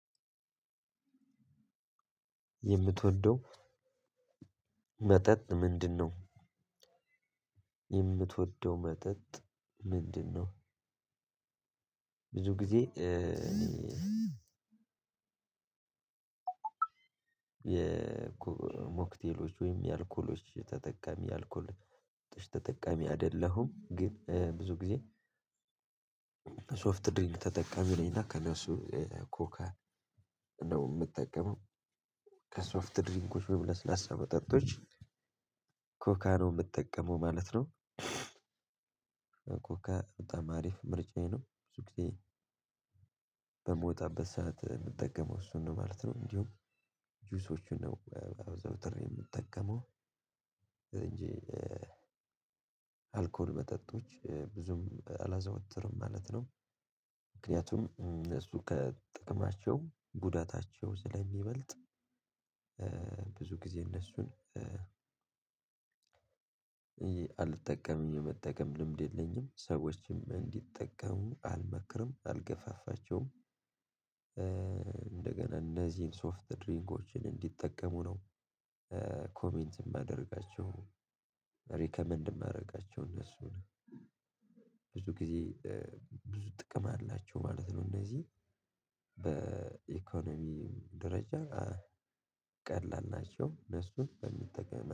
የምትወደው መጠጥ ምንድነው የምትወደው መጠጥ ምንድነው? ብዙ ጊዜ የሞክቴሎች ወይም የአልኮሎች ተጠቃሚ አልኮል ተጠቃሚ አይደለሁም። ኝ ብዙ ግዜ ሶፍት ድሪንክ ተጠቃሚ ነኝ። እና ከእነሱ ኮከ እንደውም የምጠቀመው ከሶፍት ድሪንኮች ወይም ላስለሳ መጠጦች ኮካ ነው የምጠቀመው ማለት ነው። ኮካ በጣም አሪፍ ምርጫዬ ነው ብዙ ጊዜ በምወጣበት ሰዓት የምጠቀመው እሱን ነው ማለት ነው። እንዲሁ ጁሶቹን ነው አዘውትሬ የምጠቀመው እንጂ አልኮል መጠጦች ብዙም አላዘወትርም ማለት ነው። ምክንያቱም እሱ ከጥቅማቸው ጉዳታቸው ስለሚበልጥ ብዙ ጊዜ እነሱን አልጠቀም የመጠቀም ልምድ የለኝም ሰዎችም እንዲጠቀሙ አልመክርም አልገፋፋቸውም። እንደገና እነዚህን ሶፍት ድሪንኮችን እንዲጠቀሙ ነው ኮሜንት የማደርጋቸው ሪከመንድ የማደርጋቸው እነሱን። ብዙ ጊዜ ብዙ ጥቅም አላቸው ማለት ነው። እነዚህ በኢኮኖሚ ደረጃ ቀላል ናቸው ለሱ በሚጠቀም